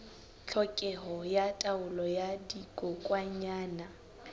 tlhokeho ya taolo ya dikokwanyana